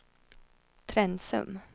Trensum